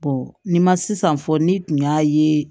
ni ma sisan fɔ ni tun y'a ye